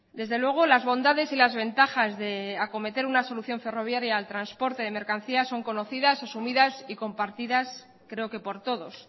desde luego las bondades y las ventajas de acometer una solución ferroviaria al transporte de mercancías son conocidas asumidas y compartidas creo que por todos